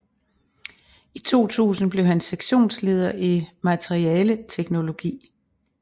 I 2000 blev han sektionsleder i materialeteknologi